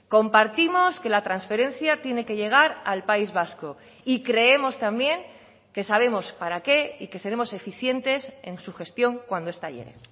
compartimos que la transferencia tiene que llegar al país vasco y creemos también que sabemos para qué y que seremos eficientes en su gestión cuando esta llegue